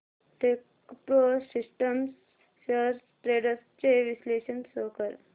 Techpro systems shares trends चे विश्लेषण show कर